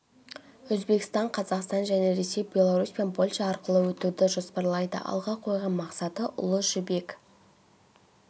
өзбекстан қазақстан және ресей белорусь пен польша арқылы өтуді жоспарлайды алға қойған мақсаты ұлы жібек